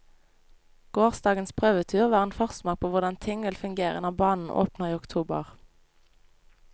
Gårsdagens prøvetur var en forsmak på hvordan ting vil fungere når banen åpner i oktober.